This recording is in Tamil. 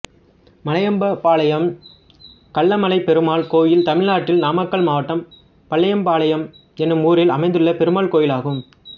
மலையம்பாளையம் கள்ளமலைப் பெருமாள் கோயில் தமிழ்நாட்டில் நாமக்கல் மாவட்டம் மலையம்பாளையம் என்னும் ஊரில் அமைந்துள்ள பெருமாள் கோயிலாகும்